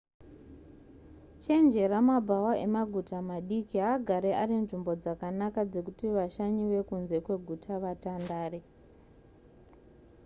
chenjera mabhawa emaguta madiki haagari ari nzvimbo dzakanaka dzekuti vashanyi vekunze kweguta vatandare